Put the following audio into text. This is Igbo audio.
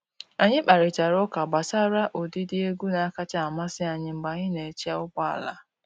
Anyị kparịtara ụka gbasara ụdịdị egwu na-akacha amasị anyị mgbe anyị na-eche ụgbọ ala.